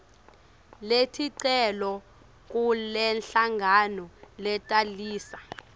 leticelo kulenhlangano letalisa